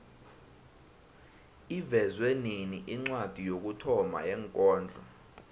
ivezwe nini incwadi yokuthoma yekondlo